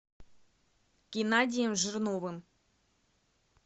геннадием жирновым